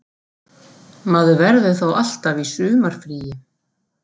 Maður verður þá alltaf í sumarfríi